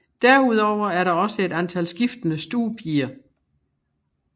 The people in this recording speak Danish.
Derudover er der også et antal skiftende stuepiger